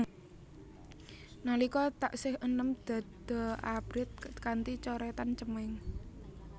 Nalika taksih enem dada abrit kanthi coretan cemeng